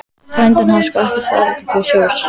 Frændinn hafði sko ekkert farið til sjós.